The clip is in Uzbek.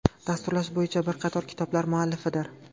Dasturlash bo‘yicha bir qator kitoblar muallifidir.